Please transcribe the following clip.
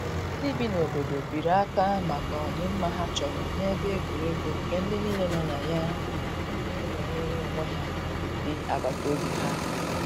ndi bi na obodo biri aka maka odi mma ha chọrọ na ebe egwuregwu nke ndi nile no na ya na enweyere onwe ha di agbata obi ha.